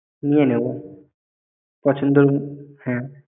নিয়ে নেবো। পছন্দ ।